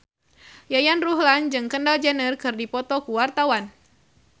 Yayan Ruhlan jeung Kendall Jenner keur dipoto ku wartawan